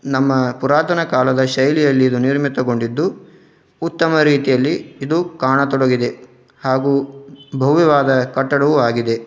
ನಮ್ಮ ಪುರಾತನ ಕಾಲದ ಶೈಲಿಯಲ್ಲಿ ಇದು ನಿರ್ಮಿತಗೊಂಡಿದ್ದು ಉತ್ತಮ ರೀತಿಯಲ್ಲಿ ಇದು ಕಾಣತೊಡಗಿದೆ. ಹಾಗೂ ಭವ್ಯವಾದ ಕಟ್ಟಡವೂ ಆಗಿದೆ.